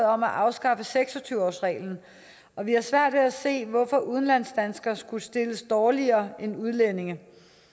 om at afskaffe seks og tyve årsreglen og vi har svært ved at se hvorfor udlandsdanskere skulle stilles dårligere end udlændinge